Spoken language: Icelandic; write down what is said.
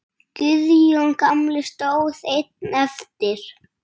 Guðjón gamli stóð einn eftir.